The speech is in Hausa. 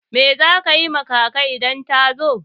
Me za ki yi ma kaka idan ta zo?